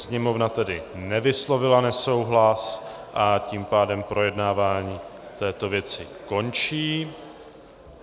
Sněmovna tedy nevyslovila nesouhlas, a tím pádem projednávání této věci končí.